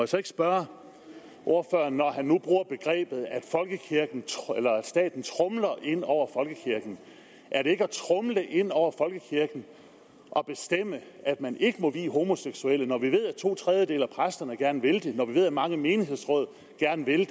så ikke spørge ordføreren når han nu bruger begrebet at staten tromler ind over folkekirken er det ikke at tromle ind over folkekirken at bestemme at man ikke må vie homoseksuelle når vi ved at to tredjedele af præsterne gerne vil det og når vi ved at mange menighedsråd gerne vil det